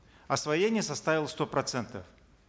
освоение составило сто процентов